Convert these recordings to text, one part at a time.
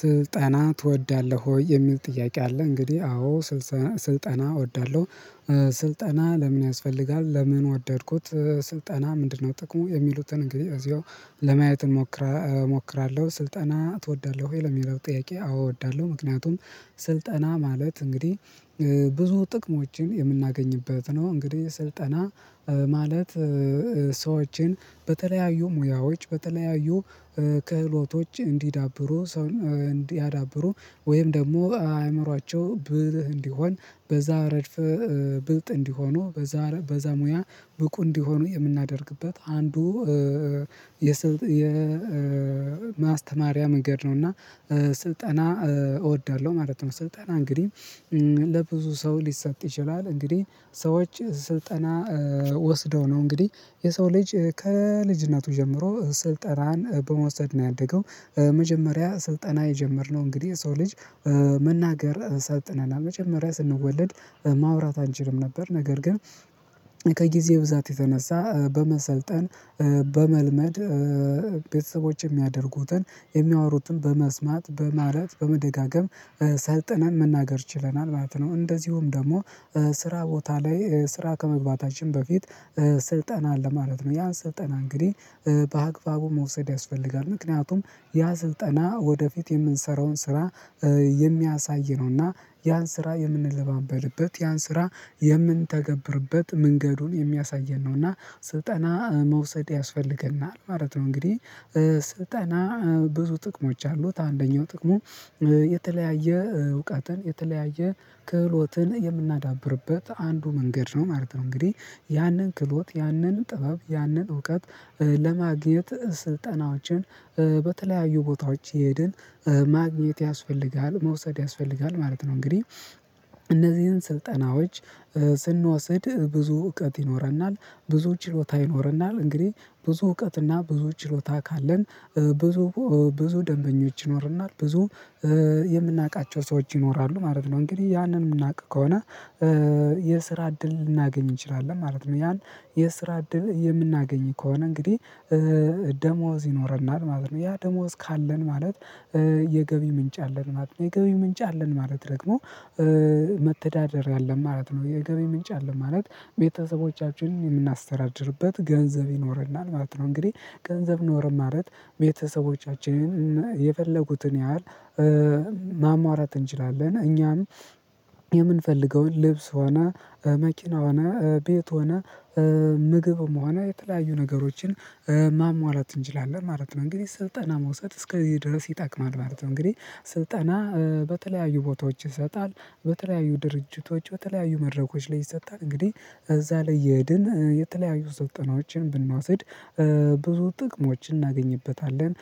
ስልጠና ትወዳለህ ወይ? የሚል ጥያቄ አለ እንግዲህ አዎ ስልጠና እወዳለሁ። ስልጠና ለምን ያስፈልጋል ለምን ወደድኩት ስልጠና ምንድነው ጥቅሙ የሚሉትን እንግዲህ እዚያው ለማየት እሞክራለሁ። ስልጠና ትወዳለህ ወይ ለሚለው ጥያቄ አወዳለሁ። ምክንያቱም ስልጠና ማለት እንግዲህ ብዙ ጥቅሞችን የምናገኝበት ነው እንግዲህ ስልጠና ማለት ሰዎችን በተለያዩ ሙያዎች በተለያዩ ክህሎቶች እንዲዳብሩ እንዲያዳብሩ ወይም ደግሞ አእምሮአቸው ብልህ እንዲሆን በዛ ረድፍ ብልጥ እንዲሆኑ በዛ በዛ ሙያ ብቁ እንዲሆኑ የምናደርግበት አንዱ የማስተማሪያ መንገድ ነው እና ስልጠና እወዳለሁ ማለት ነው። ስልጠና እንግዲህ ለብዙ ሰው ሊሰጥ ይችላል። እንግዲህ ሰዎች ስልጠና ወስደው ነው እንግዲህ የሰው ልጅ ከልጅነቱ ጀምሮ ስልጠናን በመውሰድ ነው ያደገው። መጀመሪያ ስልጠና የጀመርነው እንግዲህ የሰው ልጅ መናገር ሰጥነናል መጀመሪያ ስንወለድ ማውራት አንችልም ነበር። ነገር ግን ከጊዜ ብዛት የተነሳ በመሰልጠን በመልመድ ቤተሰቦች የሚያደርጉትን የሚያወሩትን በመስማት በማለት በመደጋገም ሰልጥነን መናገር ችለናል ማለት ነው። እንደዚሁም ደግሞ ስራ ቦታ ላይ ስራ ከመግባታችን በፊት ስልጠና አለ ማለት ነው። ያን ስልጠና እንግዲህ በአግባቡ መውሰድ ያስፈልጋል። ምክንያቱም ያ ስልጠና ወደፊት የምንሰራውን ስራ የሚያሳይ ነውና ያን ስራ የምንለማመድበት ያን ስራ የምንተገብርበት መንገዱን የሚያሳየን ነው እና ስልጠና መውሰድ ያስፈልገናል ማለት ነው። እንግዲህ ስልጠና ብዙ ጥቅሞች አሉት አንደኛው ጥቅሙ የተለያየ እውቀትን የተለያየ ክህሎትን የምናዳብርበት አንዱ መንገድ ነው ማለት ነው። እንግዲህ ያንን ክህሎት ያንን ጥበብ ያንን እውቀት ለማግኘት ስልጠናዎችን በተለያዩ ቦታዎች እየሄድን ማግኘት ያስፈልጋል መውሰድ ያስፈልጋል ማለት ነው። እንግዲህ እነዚህን ስልጠናዎች ስንወስድ ብዙ እውቀት ይኖረናል ብዙ ችሎታ ይኖረናል እንግዲህ ብዙ እውቀትና ብዙ ችሎታ ካለን ብዙ ብዙ ደንበኞች ይኖርናል ብዙ የምናውቃቸው ሰዎች ይኖራሉ ማለት ነው። እንግዲህ ያንን የምናውቅ ከሆነ የስራ እድል ልናገኝ እንችላለን ማለት ነው። ያን የስራ እድል የምናገኝ ከሆነ እንግዲህ ደሞዝ ይኖረናል ማለት ነው። ያ ደሞዝ ካለን ማለት የገቢ ምንጭ አለን ማለት ነው። የገቢ ምንጭ አለን ማለት ደግሞ መተዳደርያ አለን ማለት ነው። የገቢ ምንጭ አለ ማለት ቤተሰቦቻችንን የምናስተዳድርበት ገንዘብ ይኖርናል ማለት ነው። እንግዲህ ገንዘብ ኖረን ማለት ቤተሰቦቻችንን የፈለጉትን ያህል ማሟላት እንችላለን እኛም የምንፈልገውን ልብስ ሆና መኪና ሆና ቤት ሆና ምግብ መሆኑ የተለያዩ ነገሮችን ማሟላት እንችላለን ማለት ነው። እንግዲህ ስልጠና መውሰድ እስከዚህ ድረስ ይጠቅማል ማለት ነው። እንግዲህ ስልጠና በተለያዩ ቦታዎች ይሰጣል በተለያዩ ድርጅቶች በተለያዩ መድረኮች ላይ ይሰጣል እንግዲህ እዛ ላይ እየሄድን የተለያዩ ስልጠናዎችን ብንወስድ ብዙ ጥቅሞችን እናገኝበታለን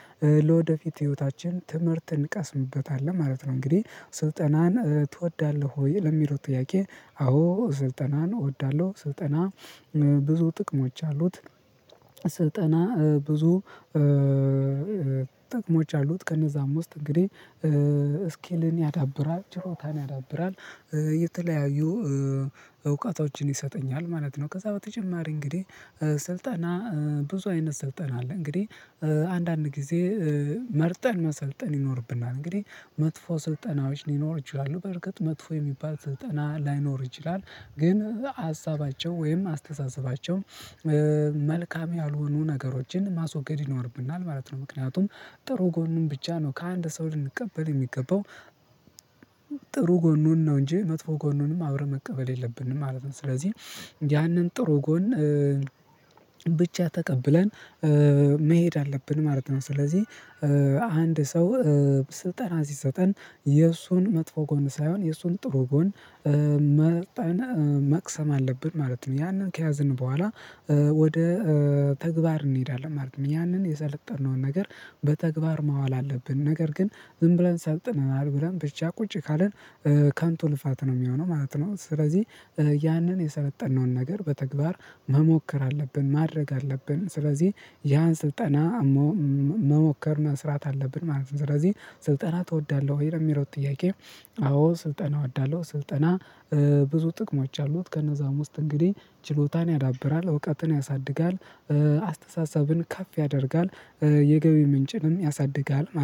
ለወደፊት ህይወታችን ትምህርት እንቀስምበታለን ማለት ነው። እንግዲህ ስልጠናን ትወዳለህ ወይ ለሚለው ጥያቄ አዎ ስልጠናን እወዳለሁ። ስልጠና ብዙ ጥቅሞች አሉት። ስልጠና ብዙ ጥቅሞች አሉት ከነዛም ውስጥ እንግዲህ ስኪልን ያዳብራል ችሎታን ያዳብራል የተለያዩ እውቀቶችን ይሰጠኛል ማለት ነው። ከዛ በተጨማሪ እንግዲህ ስልጣና ብዙ አይነት ስልጠና አለ እንግዲህ አንዳንድ ጊዜ መርጠን መሰልጠን ይኖርብናል። እንግዲህ መጥፎ ስልጠናዎች ሊኖር ይችላሉ በርግጥ መጥፎ የሚባል ስጠና ላይኖር ይችላል። ግን ሀሳባቸው ወይም አስተሳሰባቸው መልካም ያልሆኑ ነገሮችን ማስወገድ ይኖርብናል ማለት ነው። ምክንያቱም ጥሩ ጎንም ብቻ ነው ከአንድ ሰው ልንቀበል የሚገባው ጥሩ ጎኑን ነው እንጂ መጥፎ ጎኑንም አብረን መቀበል የለብንም ማለት ነው። ስለዚህ ያንን ጥሩ ጎን ብቻ ተቀብለን መሄድ አለብን ማለት ነው። ስለዚህ አንድ ሰው ስልጠና ሲሰጠን የእሱን መጥፎ ጎን ሳይሆን የእሱን ጥሩ ጎን መቅሰም አለብን ማለት ነው። ያንን ከያዘን በኋላ ወደ ተግባር እንሄዳለን ማለት ነው። ያንን የሰለጠነውን ነገር በተግባር ማዋል አለብን ነገር ግን ዝም ብለን ሰልጥነናል ብለን ብቻ ቁጭ ካልን ከንቱ ልፋት ነው የሚሆነው ማለት ነው። ስለዚህ ያንን የሰለጠነውን ነገር በተግባር መሞከር አለብን ማድረግ አለብን ስለዚህ ያን ስልጠና መሞከር መስራት አለብን ማለት ነው። ስለዚህ ስልጠና ትወዳለህ ወይ? ለሚለው ጥያቄ አዎ ስልጠና እወዳለሁ። ስልጠና ብዙ ጥቅሞች አሉት ከነዛም ውስጥ እንግዲህ ችሎታን ያዳብራል እውቀትን ያሳድጋል አስተሳሰብን ከፍ ያደርጋል የገቢ ምንጭንም ያሳድጋል ማለት። ነው